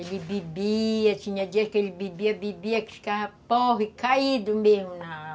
Ele bebia, tinha dia que ele bebia, bebia que ficava porre, caído mesmo na